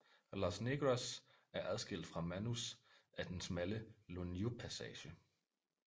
Los Negros er adskilt fra Manus af den smalle Loniu passage